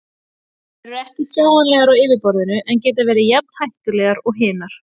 Þær eru ekki sjáanlegar á yfirborðinu en geta verið jafn hættulegar og hinar.